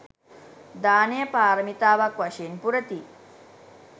දානය පාරමිතාවක් වශයෙන් පුරති.